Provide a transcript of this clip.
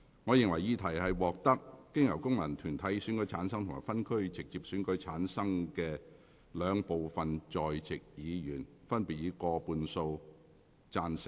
我認為議題獲得經由功能團體選舉產生及分區直接選舉產生的兩部分在席議員，分別以過半數贊成。